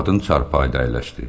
Qadın çarpayıda əyləşdi.